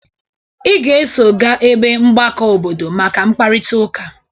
Ị ga-eso ga ebe mgbakọ obodo maka mkparịtaụka!